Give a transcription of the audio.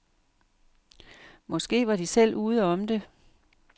Måske var de selv ude om det?